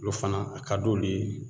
Olu fana a ka d'olu ye